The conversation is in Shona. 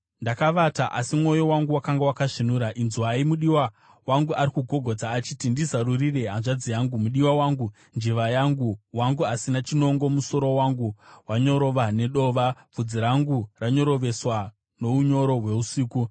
Ndakavata asi mwoyo wangu wakanga wakasvinura. Inzwai! Mudiwa wangu ari kugogodza, achiti, “Ndizarurire, hanzvadzi yangu, mudiwa wangu, njiva yangu, wangu asina chinongo. Musoro wangu wanyorova nedova, bvudzi rangu ranyoroveswa nounyoro hweusiku.”